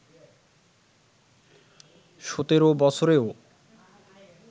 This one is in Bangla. সতেরো বছরেও